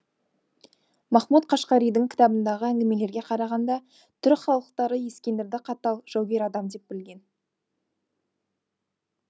махмуд қашқаридің кітабындағы әңгімелерге қарағанда түрік халықтары ескендірді қатал жаугер адам деп білген